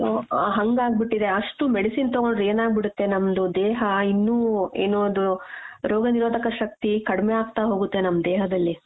ಆ ಹಂಗಾಗ್ ಬಿಟ್ಟಿದೆ ಅಷ್ಟು medicine ತಗೊಂಡ್ರೆ ಏನಾಗ್ಬಿಡತ್ತೆ ನಮ್ದು ದೇಹ ಇನ್ನೂ ಏನು ಅದು ರೋಗನಿರೋಧಕ ಶಕ್ತಿ ಕಡ್ಮೆ ಆಗ್ತಾ ಹೋಗುತ್ತೆ ನಮ್ ದೇಹದಲ್ಲಿ.